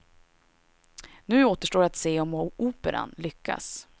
Nu återstår att se om operan lyckas.